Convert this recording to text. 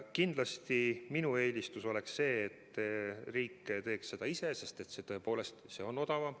Kindlasti minu eelistus on see, et riik teeks seda ise, sest see tõepoolest on odavam.